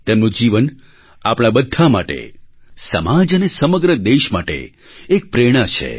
તેમનું જીવન આપણા બધા માટે સમાજ અને સમગ્ર દેશ માટે એક પ્રેરણા છે